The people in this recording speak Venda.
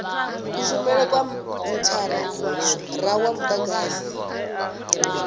kushumele kwa mithara wa mudagasi